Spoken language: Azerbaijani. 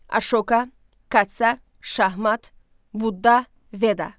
Aşoka, Katsa, Şahmat, Budda, Veda.